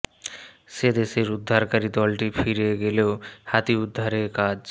সে দেশের উদ্ধারকারী দলটি ফিরে গেলেও হাতি উদ্ধারে কাজ